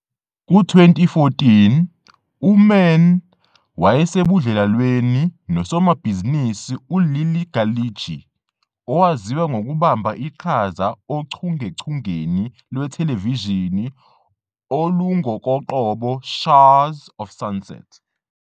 Ku-2014, uMann wayesebudlelwaneni nosomabhizinisi uLilly Ghalichi, owaziwa ngokubamba iqhaza ochungechungeni lwethelevishini "olungokoqobo Shahs of Sunset."